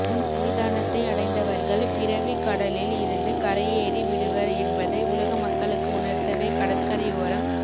உன் சன்னிதானத்தை அடைந்தவர்கள் பிறவிக் கடலில் இருந்து கரையேறி விடுவர் என்பதை உலக மக்களுக்கு உணர்த்தவே கடற்கரையோரம்